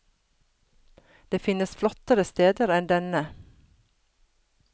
Det finnes flottere steder enn denne.